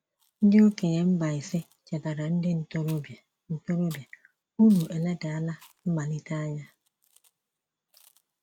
Ndị okenye Mbaise chetaara ndị ntorobịa: ntorobịa: “Unu eledala mmalite anya.”